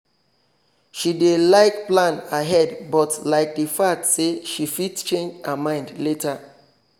she dey like plan ahead but like the fact say she fit change her mind later